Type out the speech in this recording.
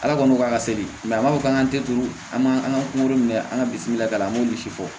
Ala kɔni k'a ka se de a m'a fɔ k'an ka telu an b'an ka kungo minɛ an ka bisina ta an b'olu si fɔ